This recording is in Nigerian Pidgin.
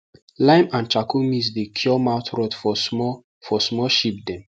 lime and charcoal mix dey cure mouth rot for small for small sheep dem